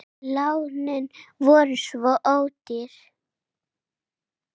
Lánin voru svo ódýr.